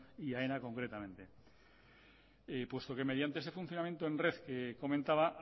y aena concretamente puesto que mediante ese funcionamiento en red que comentaba